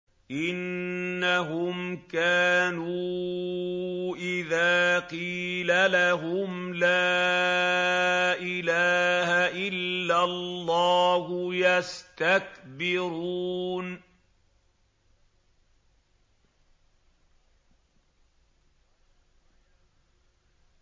إِنَّهُمْ كَانُوا إِذَا قِيلَ لَهُمْ لَا إِلَٰهَ إِلَّا اللَّهُ يَسْتَكْبِرُونَ